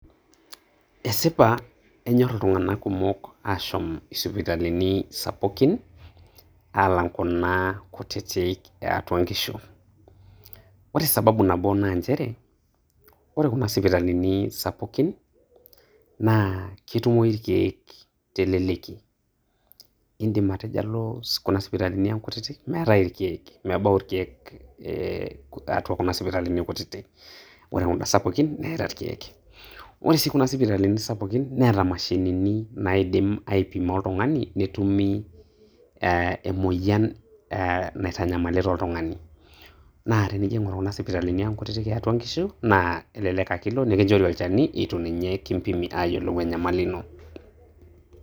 Esipa enyorr iltung'anak kumok ashom sipitalini sapukini alang kuna kutitik eatwa nkishu . ore sababu nabo naa nychere; ore sipitalini sapukin naa ketumokini te leleki , indim anoto ore kuna sipitalini kutitk naa meetae irkiek, mebau irkiek atua kuna sipitalini kutitik ,ore kuna sapukin neeta irkiek ,ore sii kuna sipitalini sapukini neeta mashinini naidim aipimo oltungani netumi emoyian naitanyamalita aa oltungani naa tenijing atua kuna sipitani eatwa inkishu naa elelek ake ilo nikinchori olchani eitu ninye kimpimi ayiolou enyamali ino.